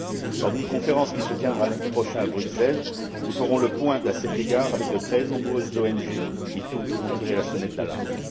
Lors d'une conférence, qui se tiendra lundi prochain à Bruxelles, nous ferons le point à cet égard avec de très nombreuses ONG qui, toutes, ont tiré la sonnette d'alarme.